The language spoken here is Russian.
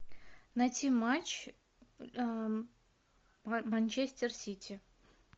найти матч манчестер сити